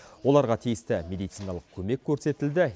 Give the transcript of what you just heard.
оларға тиісті медициналық көмек көрестілді